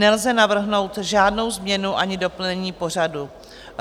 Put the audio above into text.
Nelze navrhnout žádnou změnu ani doplnění pořadu.